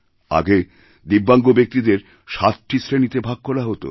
আগেদিব্যাঙ্গ ব্যক্তিদের ৭টি শ্রেণিতে ভাগ করা হতো